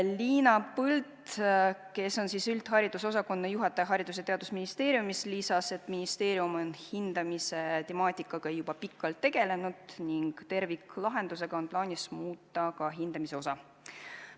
Liina Põld, kes on üldharidusosakonna juhataja Haridus- ja Teadusministeeriumis, lisas, et ministeerium on hindamise temaatikaga juba pikalt tegelenud ning terviklahendusega on plaanis muuta ka hindamise osa.